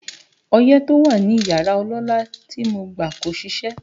Ọyẹ́ tó wà ní yàrá ọlọ́lá tí mo gbà kò ṣiṣẹ́